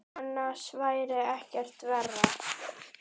Annars væri ekkert verra.